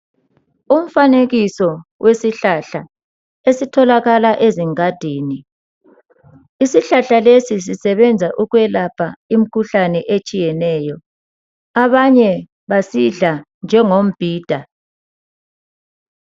Umfanekisa wesihlahla esitholakala ezingadini. Isihlahla lesi sisebenza ukwelapha imkhuhlane etshiyeneyo. Abanye basidla njengombhida